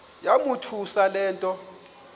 yamothusa le nto